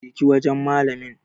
Je ki wajan malamin